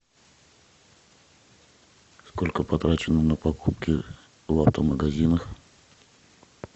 сколько потрачено на покупки в авто магазинах